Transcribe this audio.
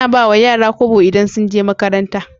Ana ba wa yara kobo idan sun je makaranta